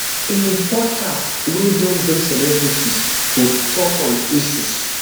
im podcast wey don bring celebrities to tok on issues